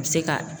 A bɛ se ka